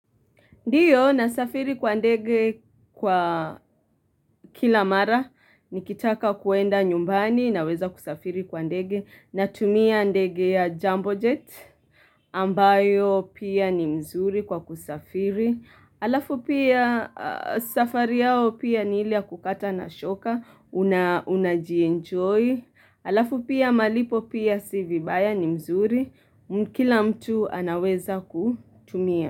Ndiyo nasafiri kwa ndege kwa kila mara, nikitaka kuenda nyumbani na weza kusafiri kwa ndege na tumia ndege ya jumbo jet ambayo pia ni mzuri kwa kusafiri. Alafu pia safari yao pia ni ilia kukata na shoka, una jienjoy. Alafu pia malipo pia si vibaya ni mzuri, mkila mtu anaweza kutumia.